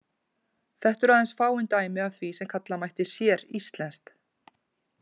Þetta eru aðeins fáein dæmi af því sem kalla mætti séríslenskt.